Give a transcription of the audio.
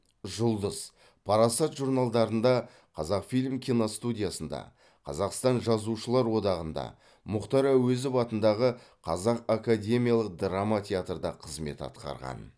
жұлдыз парасат журналдарында қазақфильм киностудиясында қазақстан жазушылар одағында мұхтар әуезов атындағы қазақ академиялық драма театрда қызмет атқарған